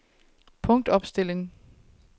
punktopstilling